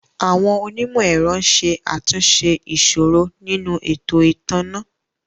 Àwọn onímò ẹ̀rọ ń ṣe àtúnṣe ìṣòro nínú ètò ìtanná